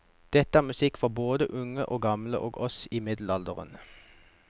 Dette er musikk for både unge og gamle og oss i middelalderen.